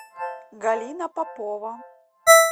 галина попова